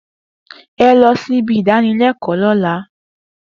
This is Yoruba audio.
E lọ sí ibi idanilẹkọ lóla